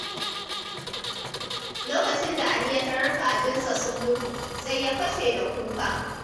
Lokacin da Ali ya tarar kajinsa sun mutu, sai ya fashe da kuka.